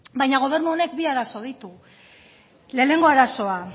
baina gobernu honek bi arazo ditu lehenengo arazoa